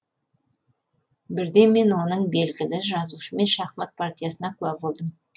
бірде мен оның белгілі жазушымен шахмат партиясына куә болдым